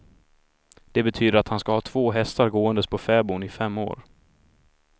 Det betyder att han ska ha två hästar gåendes på fäboden i fem år.